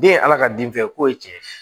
Den ye ala ka den fɛn ye ko ye tiɲɛ ye